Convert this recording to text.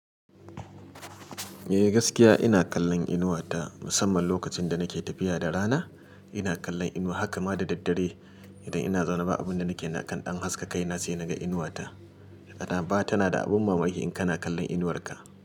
Eh gaskiya ina kallon inuwa ta musamman lokacin da nake tafiya da rana ina kallon inuwa haka ma da daddare idan ina zaune ba abun da nake kan ɗan haska kaina sai naga inuwa ta. Kana ba tana da abin mamaki in kana kallon inuwar ka.